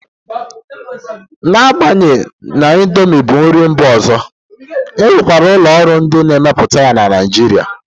Na-agbanyeghi na indomi bụ nri mba ọzọ, e nwekwara ụlọ ọrụ ndị na-emepụta ya na Naijiria.